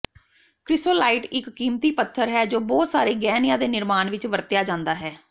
chrysolite ਇੱਕ ਕੀਮਤੀ ਪੱਥਰ ਹੈ ਜੋ ਬਹੁਤ ਸਾਰੇ ਗਹਿਣਿਆਂ ਦੇ ਨਿਰਮਾਣ ਵਿੱਚ ਵਰਤਿਆ ਜਾਂਦਾ ਹੈ